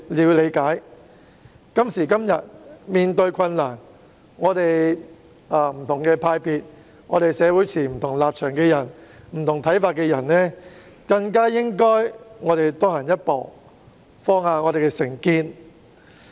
面對今時今日的困局，不同派別及社會上持不同立場和看法的人，更應多走一步，放下成見。